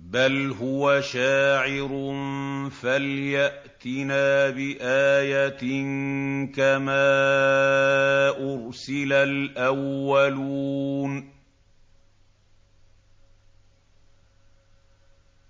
بَلْ هُوَ شَاعِرٌ فَلْيَأْتِنَا بِآيَةٍ كَمَا أُرْسِلَ الْأَوَّلُونَ